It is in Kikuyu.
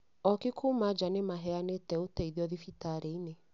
ooki kuuma njaa nĩ maheanĩte ũteithio thibitarĩ-inĩ